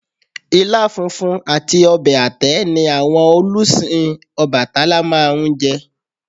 Ilá funfun àti ọbẹ̀ àtẹ́ ni àwọn olùsìn Ọbàtálá máa ń fun jẹ